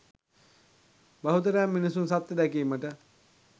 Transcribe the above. බහුතරයක් මිනිසුන් සත්‍ය දැකීමට